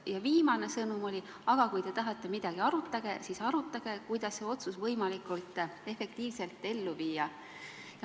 Ja viimane sõnum oli see, et kui te tahate midagi arutada, siis arutage seda, kuidas see otsus võimalikult efektiivselt ellu viia.